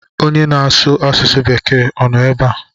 Onye na-asu asụsu bekee o no ebe a?